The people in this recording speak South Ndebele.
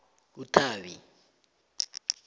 uthabi